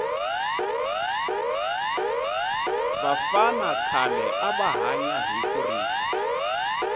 vafana khale ava hanya hi kurisa